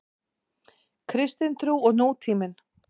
Kristin trú og nútíminn.